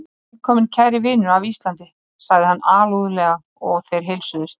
Velkominn kæri vinur af Íslandi, sagði hann alúðlega og þeir heilsuðust.